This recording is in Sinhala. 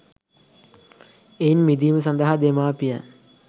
එයින් මිදීම සඳහා දෙමාපියන්